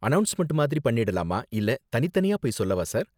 Announcement மாதிரி பண்ணிடலாமா இல்ல தனித்தனியா போய் சொல்லவா சார்.